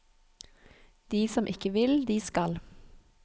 De som ikke vil, de skal.